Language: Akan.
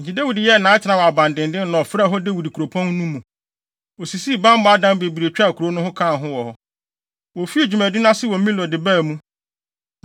Enti Dawid yɛɛ nʼatenae wɔ abandennen na ɔfrɛɛ hɔ Dawid Kuropɔn no mu. Osisii bammɔ adan bebree twaa kurow no ho kaa ho. Wofii dwumadi no ase wɔ Milo de baa mu.